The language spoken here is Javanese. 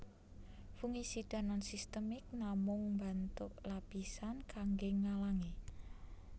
Fungisida nonsistemik namung mbantuk lapisan kanggé ngalangi